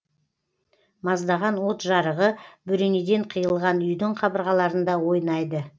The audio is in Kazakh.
маздаған от жарығы бөренеден қиылған үйдің қабырғаларында ойнайды